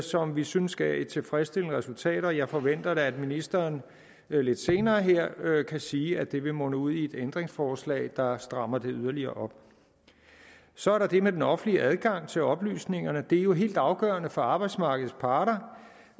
som vi synes gav et tilfredsstillende resultat og jeg forventer da at ministeren lidt senere her kan sige at det vil munde ud i et ændringsforslag der strammer det yderligere op så er der det med den offentlige adgang til oplysningerne det er jo helt afgørende for arbejdsmarkedets parter